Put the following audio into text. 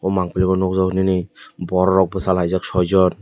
mangpili o nukjakgo nini borokrok bwchalaijak soijon.